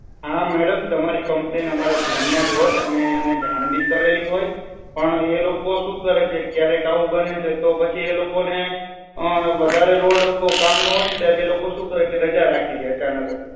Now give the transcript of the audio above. હા madam તમારી complaint અમારા ધ્યાન માં જ હોય અમે અમને જાણ બી કરેલી હોય પણ એ લોકો શું કરે છે ક્યારેક એવું બને છે કે આ લોકો ને વધારે load નું કામ ન હોય ને તો આ લોકો રાજા રાખી દે છે અચાનક જ.